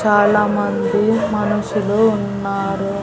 చాలామంది మనుషులు ఉన్నారు.